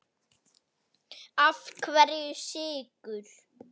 Af hverju Sykur?